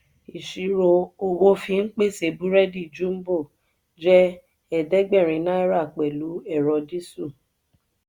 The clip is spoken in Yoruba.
ìṣirò owó fí n pèsè burẹdi jumbo je eedegberin náírà pẹlu ẹrọ disu.